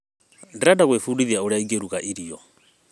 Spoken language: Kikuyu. Ndĩrenda gwĩbundithia ũrĩa ingĩruga irio.